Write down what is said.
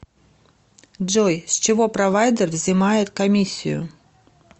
джой с чего провайдер взимает комиссию